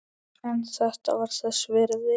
En þetta var þess virði.